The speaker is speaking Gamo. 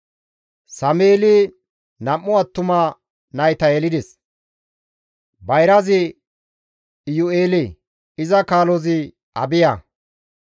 Sameeli nam7u attuma nayta yelides; bayrazi Iyu7eele; iza kaalozi Abiya.